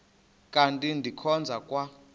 kanti ndikhonza kwa